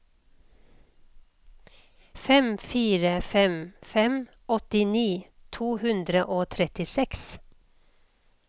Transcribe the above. fem fire fem fem åttini to hundre og trettiseks